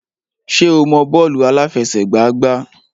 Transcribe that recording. Ṣé o mọ bọ́ọ̀lù àláfẹsẹ̀gbá gbá?